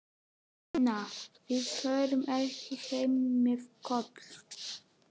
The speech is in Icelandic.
Pína, við förum ekki heim með Kol.